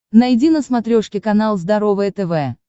найди на смотрешке канал здоровое тв